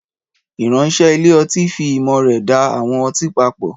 Ìránṣẹ́ ilé ọtí fi ìmọ̀ rẹ̀ da àwọn ọtí papọ̀.